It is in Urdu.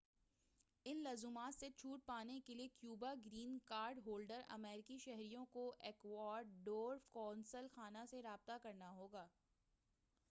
ان لزومات سے چھوٹ پانے کیلئے کیوبا گرین کارڈ ہولڈر امریکی شہریوں کو ایکواڈور قونصل خانہ سے رابطہ کرنا ہوگا